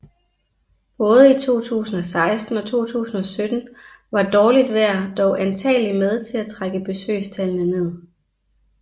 Både i 2016 og 2017 var dårligt vejr dog antageligt med til at trække besøgstallene ned